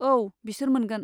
औ, बिसोर मोनगोन।